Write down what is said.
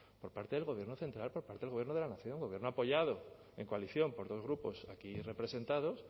por parte del gobierno central por parte del gobierno de la nación gobierno apoyado en coalición por dos grupos aquí representados